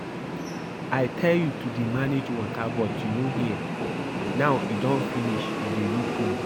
I tell you to dey manage water but you no hear now e don finish you dey look me